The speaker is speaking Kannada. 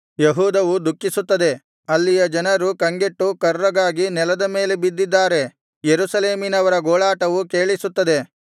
ಯೆಹೂದವು ದುಃಖಿಸುತ್ತದೆ ಅಲ್ಲಿಯ ಜನರು ಕಂಗೆಟ್ಟು ಕರ್ರಗಾಗಿ ನೆಲದ ಮೇಲೆ ಬಿದ್ದಿದ್ದಾರೆ ಯೆರೂಸಲೇಮಿನವರ ಗೋಳಾಟವು ಕೇಳಿಸುತ್ತದೆ